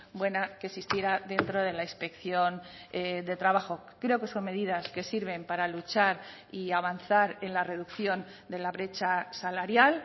buena que existiera dentro de la inspección de trabajo creo que son medidas que sirven para luchar y avanzar en la reducción de la brecha salarial